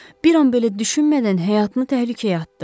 Bir an belə düşünmədən həyatını təhlükəyə atdı.